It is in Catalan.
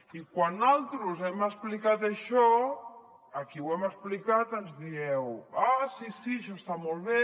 i quan naltros hem explicat això a qui ho hem explicat ens dieu ah sí sí això està molt bé